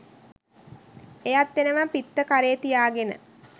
එයත් එනවා පිත්ත කරේ තියාගෙන